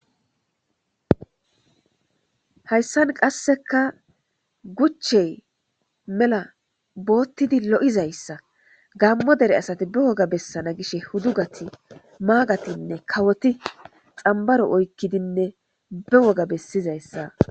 Hayssan qasseka guchey mela boottidi lo'izayssa gammo dere asati be woga bessana gishe hudugati maagatinne kawoti xambaro oykkidinne be woga bessizayssa..